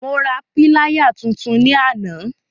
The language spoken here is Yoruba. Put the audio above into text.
Mo ra píláyà tuntun ní àná.